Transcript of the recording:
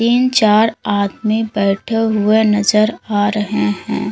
तीन चार आदमी बैठे हुए नजर आ रहे हैं।